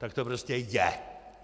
Tak to prostě je.